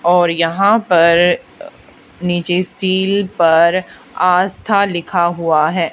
और यहां पर नीचे स्टील पर आस्था लिखा हुआ है।